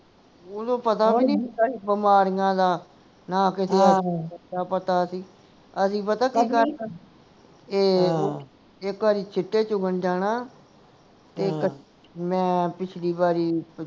ਓਦੋਂ ਪਤਾ ਵੀ ਨਹੀਂ ਹੁੰਦਾ ਸੀ ਬਿਮਾਰੀਆਂ ਦਾ ਨਾ ਕਿਸੇ ਪਤਾ ਸੀ ਅੱਜ ਪਤਾ ਇਹ ਇਕ ਵਾਰੀ ਛਿੱਟੇ ਚੁਗਣ ਜਾਣਾ ਤੇ ਇਕ ਮੈਂ ਪਿਛਲੀ ਵਾਰੀ